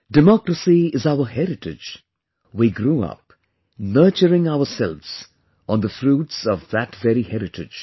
Democracy is our heritage; we grew up, nurturing ourselves on the fruits of that very heritage